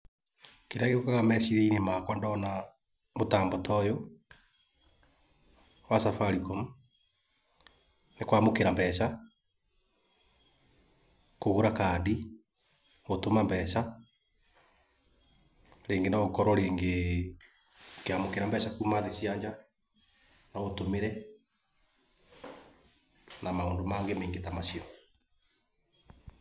Kĩrĩa gĩũkaga meciria-inĩ makwa ndona mũtambo ta ũyũ wa Safaricom nĩ kwamũkĩra mbeca, gũtũma mbeca kũgũra kandi gũtũma mbeca rĩngĩ no ũkorwo rĩngĩ ũkĩamũkĩra mbeca kuma thĩ cia nja magũtũmĩre na maũndũ mangĩ maingĩ ta macio.